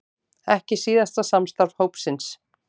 Ekki síðasta samstarf hópsins